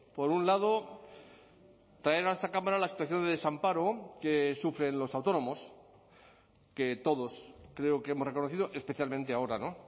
por un lado traer a esta cámara la situación de desamparo que sufren los autónomos que todos creo que hemos reconocido especialmente ahora no